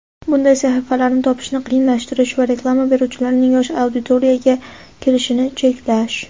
bunday sahifalarni topishni qiyinlashtirish va reklama beruvchilarning yosh auditoriyaga kirishini cheklash.